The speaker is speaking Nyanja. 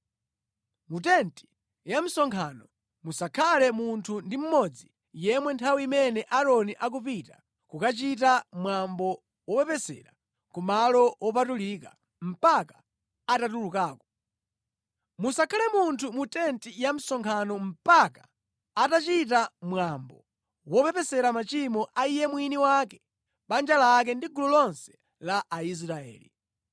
Mu tenti ya msonkhano musakhale munthu ndi mmodzi yemwe nthawi imene Aaroni akupita kukachita mwambo wopepesera ku Malo Wopatulika mpaka atatulukako. Musakhale munthu mu tenti ya msonkhano mpaka atachita mwambo wopepesera machimo a iye mwini wake, banja lake ndi gulu lonse la Aisraeli.